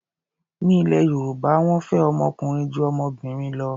Ní ilẹ̀ Yorùbá, wọ́n fẹ́ ọmọ ọkùnrin ju ọmọbìnrin lọ.